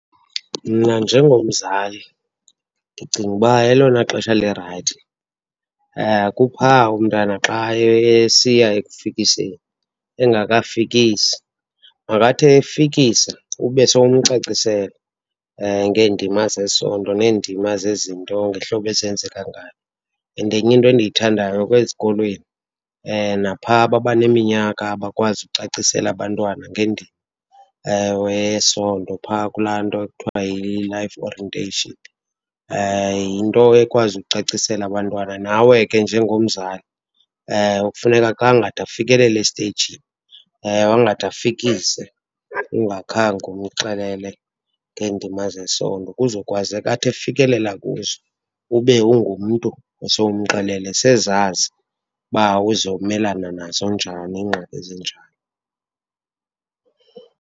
Mna njengomzali ndicinga uba elona xesha lirayithi kuphaa umntana xa esiya ekufikiseni, engakafikisi. Makathi efikisa ube somcacisele ngeendima zesondo neendima zezinto ngehlobo ezenzaka ngalo. And enye into endiyithandayo, ezikolweni naphaa babaneminyaka abakwazi ukucacisela abantwana ngendima eyesondo phaa kula nto ekuthiwa yi-life orientation. Yinto ekwazi ukucacisela abantwana. Nawe ke njengomzali, kufuneka angade afikelele esteyijini, angade afikise ungakhange umxelele ngeendima zesondo. Kuzokwazeka athi afikelela kuzo, ube ungumntu osowumxelele, sezazi uba uzomelana nazo njani iingxaki ezinjalo.